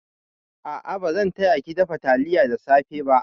A'a, bazan taya ki dafa taliya da safe ba.